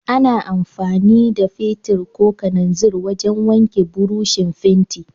Ana amfani da fetir ko kananzir wajan wanke burushin fenti